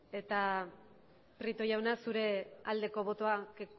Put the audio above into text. eta prieto jauna zure aldeko botoa